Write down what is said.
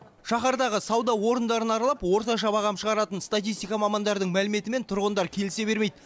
шаһардағы сауда орындарын аралап орташа бағам шығаратын статистика мамандарының мәліметімен тұрғындар келісе бермейді